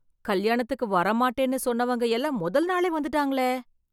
கல்யாணத்துக்கு வரமாட்டேன்னு சொன்னவங்க எல்லாம் முதல் நாளே வந்துட்டாங்களே